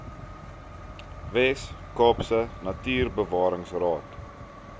wes kaapse natuurbewaringsraad